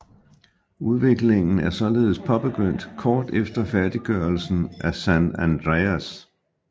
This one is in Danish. Udviklingen er således påbegyndt kort efter færdiggørelsen af San Andreas